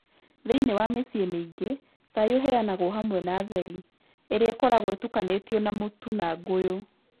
Thĩinĩ wa mĩciĩ mĩingĩ, cai ũheanagwo hamwe na theri, ĩrĩa ĩkoragwo ĩtukanĩtio na mũtu na ngũyũ.